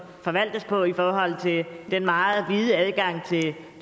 forvaltes på i forhold til den meget vide adgang